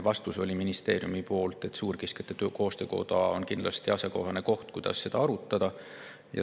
Vastus oli ministeeriumi poolt, et suurkiskjate koostöö on kindlasti asjakohane koht, kus seda arutada.